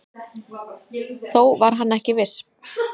Þó var hann ekki viss.